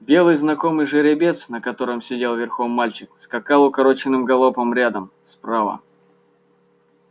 белый знакомый жеребец на котором сидел верхом мальчик скакал укороченным галопом рядом справа